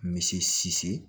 Misi